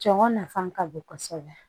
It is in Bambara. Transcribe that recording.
Cɔngɔ nafan ka bon kosɛbɛ